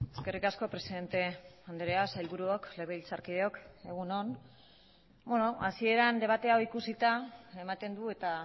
eskerrik asko presidente andrea sailburuok legebiltzarkideok egun on hasieran debate hau ikusita ematen du eta